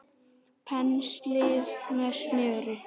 Penslið með smjöri.